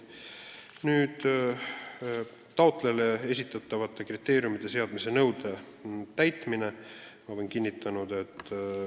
Kolmas küsimus on taotlejale esitatavate kriteeriumite seadmise nõude täitmise kohta.